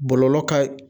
Bɔlɔlɔ ka